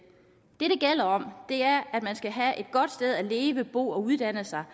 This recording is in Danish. det det gælder om er at man skal have et godt sted at leve bo og uddanne sig